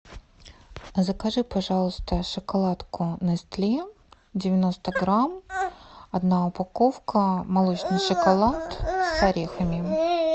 закажи пожалуйста шоколадку нестле девяносто грамм одна упаковка молочный шоколад с орехами